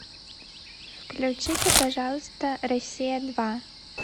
включите пожалуйста россия два